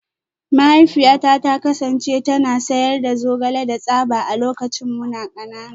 Mahaifiyata ta kasance tana sayar da zogale da tsaba a lokacin muna kanana